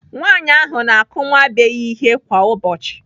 Nwaanyị ahụ na-akụ nwa be ya ihe kwa ụbọchị.